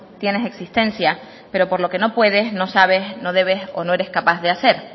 tienes existencia pero por lo que no puedes no sabes no debes o no eres capaz de hacer